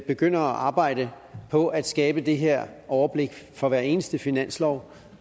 begyndte at arbejde på at skabe det her overblik for hver eneste finanslov